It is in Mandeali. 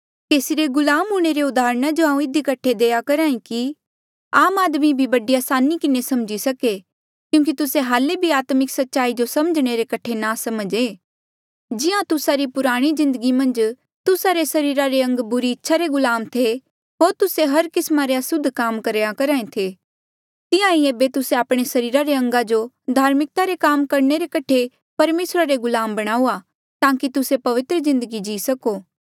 केसी रे गुलाम हूंणे रे उदाहरणा जो हांऊँ इधी कठे देई करहा कि आम आदमी भी बड़ी असानी किन्हें समझी सके क्यूंकि तुस्से हाल्ले भी आत्मिक सच्चाई जो समझणे रे कठे नासमझ ऐें जिहां तुस्सा री पुराणी जिन्दगी मन्झ तुस्सा रे सरीरा रे अंग बुरी इच्छा रे गुलाम थे होर तुस्से हर किस्मा रे असुद्ध काम करहा ऐें थे तिहां ईं ऐबे तुस्से आपणे सरीरा रे अंगा जो धार्मिकता रे काम करणे रे कठे परमेसरा रे गुलाम बणाऊआ ताकि तुस्से पवित्र जिन्दगी जी सको